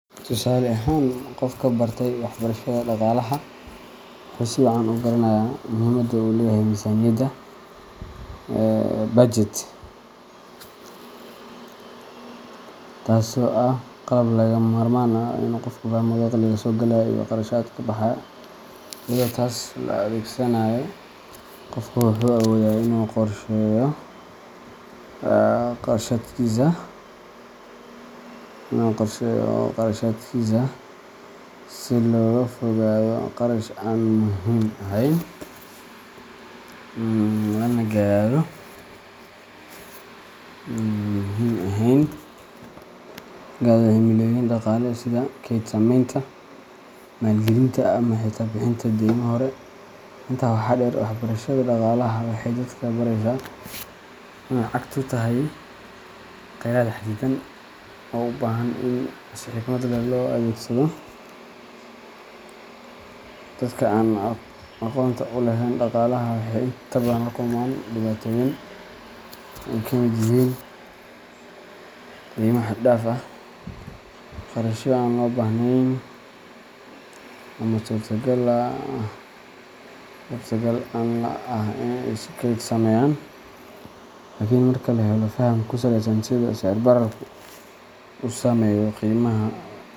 Tusaale ahaan, qofka bartay waxbarashada dhaqaalaha wuxuu si wacan u garanayaa muhiimadda uu leeyahay miisaaniyadda budget, taasoo ah qalab lagama maarmaan u ah in qofku fahmo dakhliga soo galaya iyo kharashaadka baxaya. Iyadoo taas la adeegsanayo, qofka wuxuu awoodaa in uu qorsheeyo kharashaadkiisa si looga fogaado qarash aan muhiim ahayn, lana gaadho himilooyin dhaqaale sida kayd sameynta, maalgelinta, ama xitaa bixinta deymo hore. Intaa waxaa dheer, waxbarashada dhaqaalaha waxay dadka baraysaa in lacagtu tahay kheyraad xadidan oo u baahan in si xikmad leh loo adeegsado. Dadka aan aqoonta u lahayn dhaqaalaha waxay inta badan la kulmaan dhibaatooyin ay ka mid yihiin deymo xad-dhaaf ah, kharashyo aan loo baahnayn, ama suurtagal la’aan ah in ay kayd sameeyaan. Laakiin marka la helo faham ku saleysan sida sicir-bararku u saameeyo qiimaha.